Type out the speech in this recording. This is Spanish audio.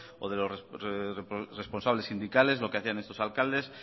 o de los responsables sindicales lo que hacían estos alcaldes